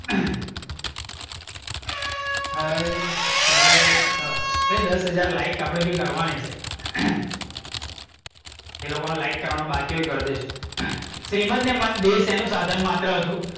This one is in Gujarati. ભાઈ દસ હજાર લાઇક આપણે બી કરવાની છે. જે લોકોને લાઇક કરવાનું બાકી હોય એ કરી દેજો. શ્રીમદ ને મન બે શેનું સાધન માત્ર હતું?